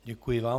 Děkuji vám.